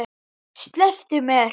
Slepptu mér!